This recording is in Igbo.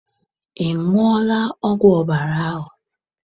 Ị ṅụọla ọgwụ ọbara ahụ?